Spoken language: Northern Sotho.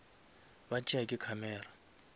ba tšea ke camera